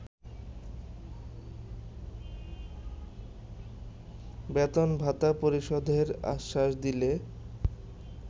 বেতন-ভাতা পরিশোধের আশ্বাস দিলে